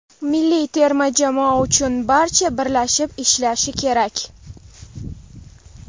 Milliy terma jamoa uchun barcha birlashib ishlashi kerak.